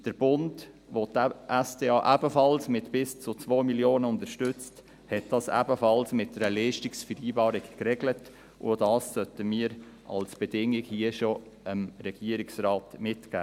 Der Bund, der die SDA mit bis zu 2 Mio. Franken unterstützt, hat dies ebenfalls mit einer Leistungsvereinbarung geregelt, und dies sollten wir dem Regierungsrat auch schon hier als Bedingung mitgeben.